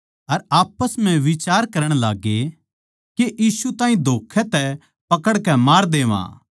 अर आप्पस म्ह बिचार करण लाग्गे के यीशु ताहीं धोक्खै तै पकड़कै मार देवा